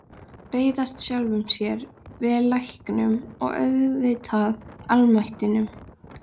Reiðast sjálfum sér, jafnvel læknum- og auðvitað almættinu.